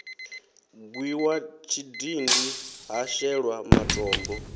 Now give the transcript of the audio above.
gwiwa tshidindi ha shelwa matombo